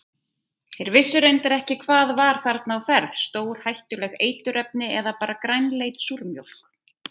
Þeir vissu reyndar ekki hvað var þarna á ferð, stórhættuleg eiturefni eða bara grænleit súrmjólk?